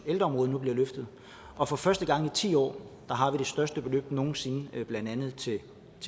ældreområdet nu bliver løftet og for første gang i ti år har vi det største beløb nogen sinde blandt andet til